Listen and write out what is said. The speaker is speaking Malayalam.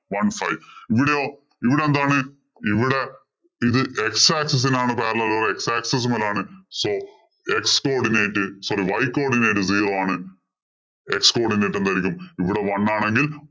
one five ഇവിടെയോ ഇവിടെ എന്താണ് ഇവിടെ ഇത് x axis ഇന് ആണ് parallel. X axis മുതലാണ്. So x coodinate sorry y codinate zero ആണ്. X codinate എന്തായിരിക്കും ഇവിടെ one ആണെങ്കില്‍ one five